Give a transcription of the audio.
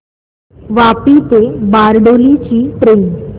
वापी ते बारडोली ची ट्रेन